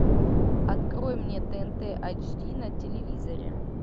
открой мне тнт айч ди на телевизоре